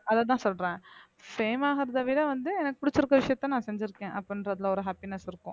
அதத்தான் சொல்றேன் fame ஆகுறதை விட வந்து எனக்கு பிடிச்சிருக்க விஷயத்த நான் செஞ்சிருக்கேன் அப்படின்றதுல ஒரு happiness இருக்கும்